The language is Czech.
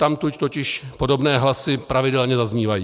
Odtamtud totiž podobné hlasy pravidelně zaznívají.